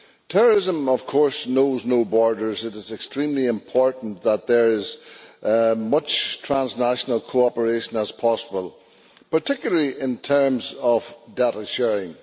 Terrorism, of course, knows no borders it is extremely important that there is as much transnational cooperation as possible, particularly in terms of data sharing.